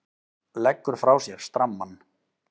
Leggur frá sér strammann.